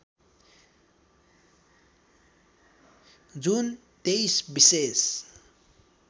जुन २३ विशेष